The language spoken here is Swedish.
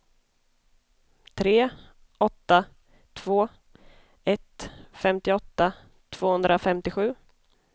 tre åtta två ett femtioåtta tvåhundrafemtiosju